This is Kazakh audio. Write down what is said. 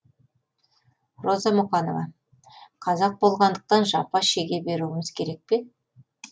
роза мұқанова қазақ болғандықтан жапа шеге беруіміз керек пе